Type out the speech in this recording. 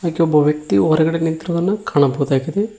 ಹಾಗೆ ಒಬ್ಬ ವ್ಯಕ್ತಿ ಹೊರಗಡೆ ನಿಂತಿರುವುದನ್ನು ಕಾಣಬಹುದಾಗಿದೆ.